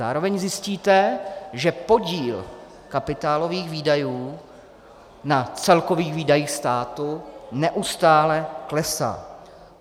Zároveň zjistíte, že podíl kapitálových výdajů na celkových výdajích státu neustále klesá.